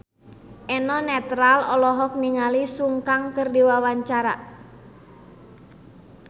Eno Netral olohok ningali Sun Kang keur diwawancara